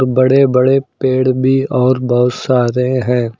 बड़े बड़े पेड़ भी और बहुत सारे हैं।